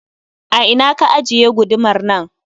A ina ka ajiye gudumar nan?